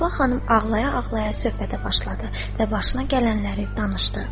Səbah xanım ağlaya-ağlaya söhbətə başladı və başına gələnləri danışdı.